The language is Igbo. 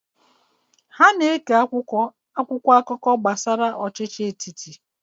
Ha na-eke akwụkwọ akụkọ gbasara ọchịchị etiti.